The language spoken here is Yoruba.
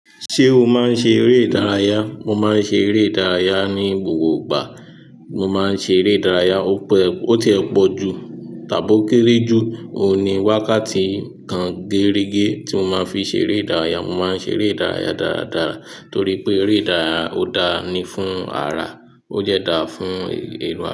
Ṣé o máa ń ṣe eré ìdárayá? Mo máa ń ṣe eré ìdárayá ní gbogbo ìgbà. Mo máa ń ṣe eré ìdárayá, ó p-- ó ti ẹ pọ̀ jù tàbí ó kéré jù. Ó ní wákàtí kan gérege tí mo máa ń fi ṣe eré ìdárayá. Mo má ń ṣe eré ìdárayá dáradára torí pé eré ìdárayá ó dáa ni fún ara. Ó dè dáa fún.